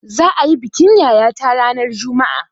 Za'a yi bikin yayata ranar juma'a.